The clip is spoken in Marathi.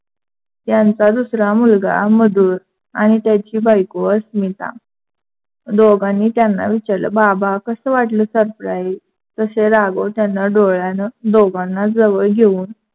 त्यांचा दुसरा मुलगा मधुर आणि त्याची बायको अस्मिता दोघांंनी त्यांना विचारलं. बाबा कसं वाटलं surprise तसे राघव त्‍यांना डोळ्यानं दोघांना जवळ घेऊन,